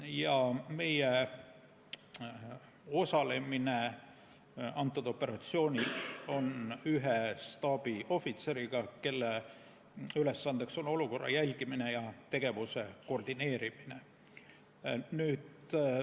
Ja meie osaleme sellel operatsioonil ühe staabiohvitseriga, kelle ülesanne on olukorra jälgimine ja tegevuse koordineerimine.